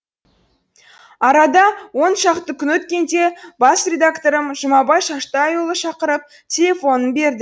арада он шақты күн өткенде бас редакторым жұмабай шаштайұлы шақырып телефонын берді